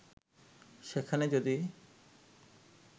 সেখানে যদি